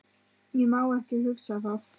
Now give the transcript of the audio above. Ég má ekki hugsa það.